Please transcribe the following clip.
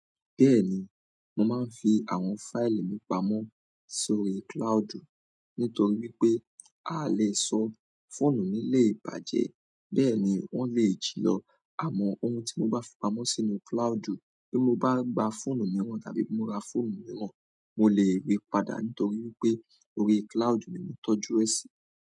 Bẹ́ẹ̀ni, mo máa ń fi àwọn fáìlì mi pamọ́ sórí cloudu nítorí pé a lè sọ fóònù mi lé bàjẹ́ bẹ́ẹ̀ ni wọ́n lè jì lọ àmọ́ ohun tí mo bá fi pamọ́ sínú cloudu bí mo bá gba fóònù mìíràn tàbí mo ra fóònù mìíràn mo lè ríi padà nítorí pé orí cloudu ni mo tọ́jú rẹ sí.